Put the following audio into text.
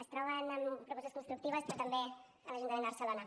es troben amb propostes constructives però també a l’ajuntament de barcelona